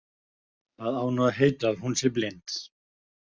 Það á nú að heita að hún sé blind.